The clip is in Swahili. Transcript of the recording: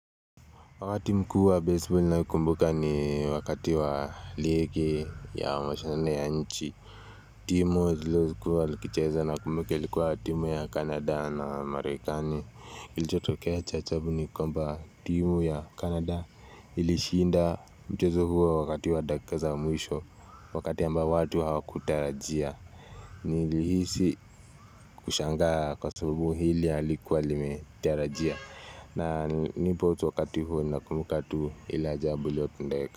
Wakati mkuu wa baseball ninayokumbuka ni wakati wa ligi ya mashindano ya nchi. Timu zilizokua zikicheza nakumbuka ilikuwa timu ya Canada na Marekani. Ilichotokea cha ajabu ni kwamba timu ya Canada ilishinda mchezo huo wakati wa dakika za mwisho. Wakati ambao watu hawakutarajia. Nilihisi kushangaa kwa sababu hili halikuwa limetarajia. Na nipo tu wakati huo na kumbuka tu ile ajabu iliyotendeka.